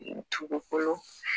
Dugukolo